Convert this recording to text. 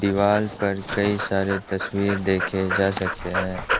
दीवाल पर कई सारे तस्वीर देखे जा सकते हैं।